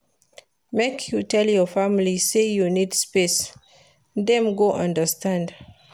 Make you tell your family sey you need space, dem go understand.